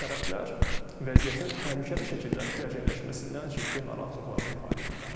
Tərəflər vəziyyətin təhlükəli şəkildə gərginləşməsindən ciddi narahatlıqlarını ifadə ediblər.